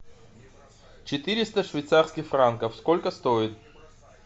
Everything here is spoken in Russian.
четыреста швейцарских франков сколько стоит